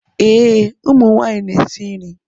Ee, ụmụ nwanyị na-esi nri.